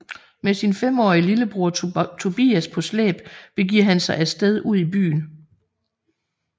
Med sin femårige lillebror Tobias på slæb begiver han sig af sted ud i byen